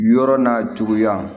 Yɔrɔ n'a juguya